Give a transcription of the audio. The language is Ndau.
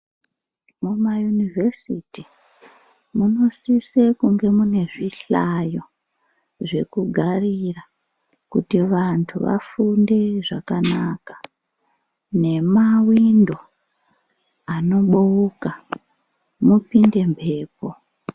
Mumayunivhesiti munosise kunge mune zvihlayo zvekugarira. Kuti vantu vafunde zvakanaka nemavindo anoboka mupinde mwepo.